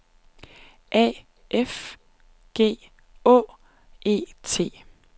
A F G Å E T